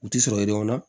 U ti sɔrɔ yen nɔ